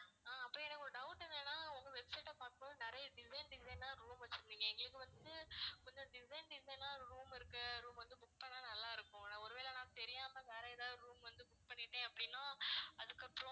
ஆஹ் அப்புறம் எனக்கு ஒரு doubt என்னனா உங்க website அ பார்க்கும்போது நிறைய design design ஆ room வெச்சிருந்தீங்க எங்களுக்கு வந்துட்டு கொஞ்சம் design design ஆ room இருக்கு room வந்து book பண்ணா நல்லா இருக்கும் ஒருவேளை நான் தெரியாம வேற எதாவது room வந்து book பண்ணிட்டேன் அப்படினா அதுக்கப்புறம்